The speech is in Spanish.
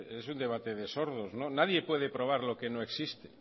es un debate de sordos nadie puede probar lo que no existe